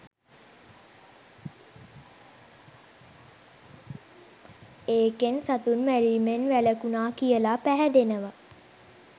ඒකෙන් සතුන් මැරීමෙන් වැළකුණා කියලා පැහැදෙනවා.